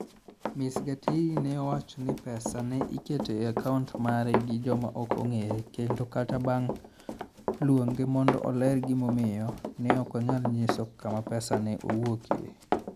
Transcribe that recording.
Ms Gitiri ne owacho ni pesa ne iketo e akaunt mare gi joma ok ong'ere kendo kata bang' luonge mondo oler gimomiyo, ne ok onyal nyiso kama pesa ne owuokie.